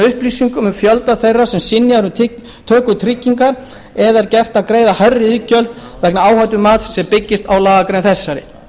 upplýsingum um fjölda þeirra sem er synjað um töku tryggingar eða er gert að greiða hærri iðgjöld vegna áhættumats sem byggist á lagagrein þessari